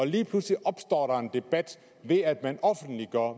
lige pludselig opstår der en debat ved at man offentliggør